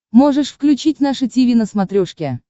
можешь включить наше тиви на смотрешке